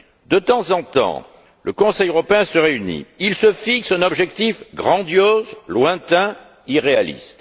De temps en temps, le Conseil européen se réunit, il se fixe un objectif grandiose, lointain et irréaliste.